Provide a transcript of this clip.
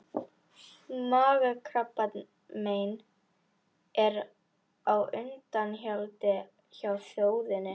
Magakrabbamein er á undanhaldi hjá þjóðinni.